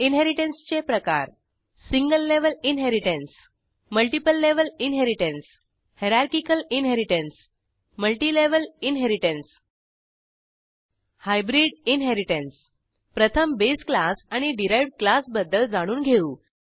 इनहेरिटन्सचे प्रकार single level inheritance multiple level inheritance hierarchical inheritance multilevel inheritance hybrid inheritance प्रथम base class आणि derived class बद्दल जाणून घेऊ